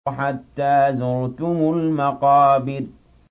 حَتَّىٰ زُرْتُمُ الْمَقَابِرَ